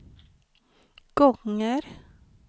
gånger